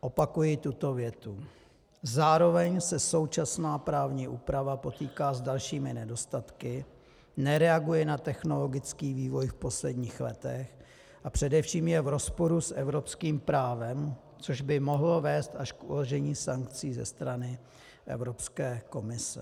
Opakuji tuto větu: Zároveň se současná právní úprava potýká s dalšími nedostatky, nereaguje na technologický vývoj v posledních letech a především je v rozporu s evropským právem, což by mohlo vést až k uložení sankcí ze strany Evropské komise.